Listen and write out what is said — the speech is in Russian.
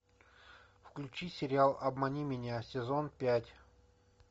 включи сериал обмани меня сезон пять